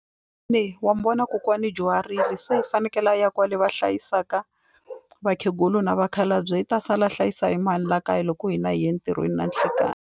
Wa mi vona kokwani u dyuharile se i fanekele a ya kwale va hlayisaka vakhegula na vakhalabye i ta sala a hlayisa hi mani la kaya loko hina hi ye entirhweni na nhlekani.